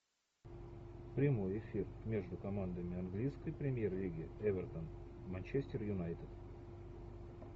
прямой эфир между командами английской премьер лиги эвертон манчестер юнайтед